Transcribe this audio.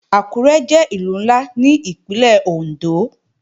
Àkúré jẹ́ Ìlú ńlá ní Ìpínlẹ̀ Òndó